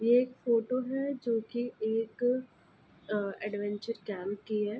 ये एक फोटो है जो कि एक अ एडवेंचर कैंप की है।